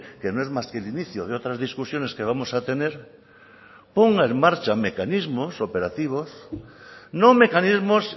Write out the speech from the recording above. que no es más que el inicio de otras discusiones que vamos a tener ponga en marcha mecanismos operativos no mecanismos